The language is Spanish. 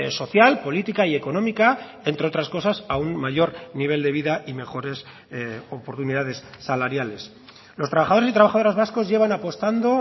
social política y económica entre otras cosas a un mayor nivel de vida y mejores oportunidades salariales los trabajadores y trabajadoras vascos llevan apostando